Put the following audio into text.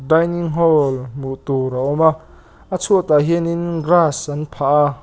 dinning hall hmuh tur a awm a a chhuat ah hian in grass an phah a--